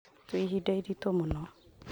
Twĩ ihinda-inĩ iritũ mũno